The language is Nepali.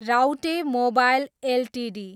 Raute mobile Ltd